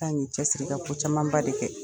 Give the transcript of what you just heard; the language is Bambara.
Ka ŋ'i cɛsiri i ka ko camanba de kɛ.